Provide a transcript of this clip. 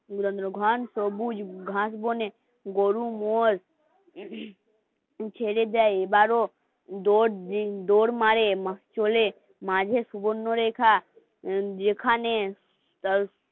ঘাস বনে গরু মোষ যদি ছেড়ে যায় দৌড় মারে চলে মাঝে সুবর্ণরেখা যেখানে